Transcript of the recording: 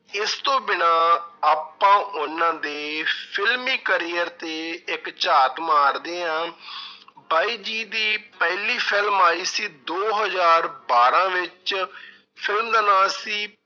ਇਸ ਤੋਂ ਬਿਨਾਂ ਆਪਾਂ ਉਹਨਾਂ ਦੇ ਫਿਲਮੀ career ਤੇ ਇੱਕ ਝਾਤ ਮਾਰਦੇ ਹਾਂ ਬਾਈ ਜੀ ਦੀ ਪਹਿਲੀ film ਆਈ ਸੀ ਦੋ ਹਜ਼ਾਰ ਬਾਰਾਂ ਵਿੱਚ film ਦਾ ਨਾਂ ਸੀ